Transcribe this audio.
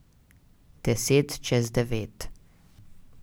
Deset čez devet.